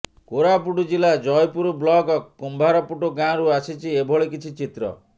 କୋରାପୁଟ ଜିଲ୍ଲା ଜୟପୁର ବ୍ଲକ କୁମ୍ଭାରପୁଟ ଗାଁରୁ ଆସିଛି ଏଭଳି କିଛି ଚିତ୍ର